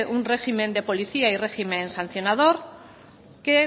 un régimen de policía y régimen sancionador que